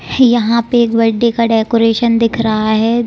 यहाँ पे एक बर्थडे का डेकोरेशन दिख रहा है।